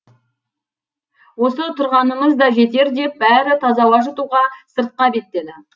осы тұрғанымыз да жетер деп бәрі таза ауа жұтуға сыртқа беттеді